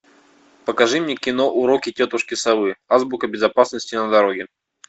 покажи мне кино уроки тетушки совы азбука безопасности на дороге